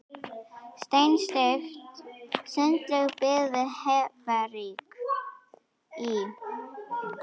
Steinsteypt sundlaug byggð við Hveravík í